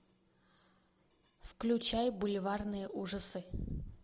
включай бульварные ужасы